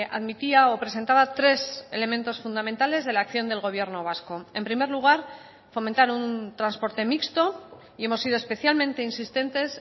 admitía o presentaba tres elementos fundamentales de la acción del gobierno vasco en primer lugar fomentar un transporte mixto y hemos sido especialmente insistentes